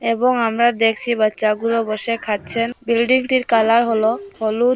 এবং আমরা দেখসি বাচ্চাগুলো বসে খাচ্ছেন বিল্ডিংটির কালার হলো হলুদ।